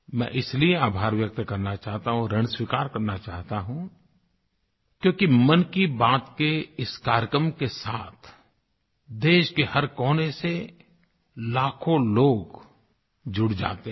मैं इसलिए आभार व्यक्त करना चाहता हूँ ऋण स्वीकार करना चाहता हूँ क्योंकि मन की बात के इस कार्यक्रम के साथ देश के हर कोने से लाखों लोग जुड़ जाते हैं